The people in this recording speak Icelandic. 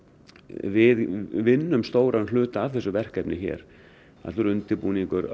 við vinnum stóran hluta af þessu verkefni hér allur undirbúningur